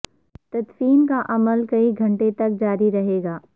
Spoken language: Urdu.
تدفین کا عمل کئی گھنٹے تک جاری رہے گا